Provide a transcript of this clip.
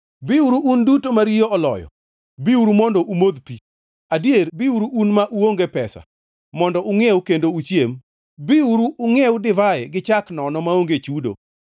“Biuru un duto ma riyo oloyo, biuru mondo umodh pi, adier biuru un ma uonge pesa, mondo ungʼiew kendo uchiem! Biuru ungʼiew divai gi chak nono maonge chudo.